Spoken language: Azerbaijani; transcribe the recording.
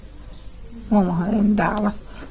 Diyə, mama öyün dağılıb.